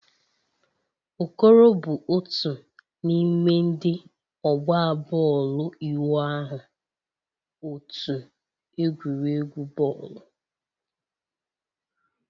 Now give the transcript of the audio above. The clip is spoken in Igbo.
Okoro bụ otu n'ime ndị ọgba bọọlụ ịwụ ahụ otu egwuregwu bọọlụ.